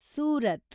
Surat